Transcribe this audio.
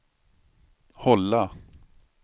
hålla